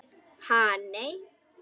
Ha nei.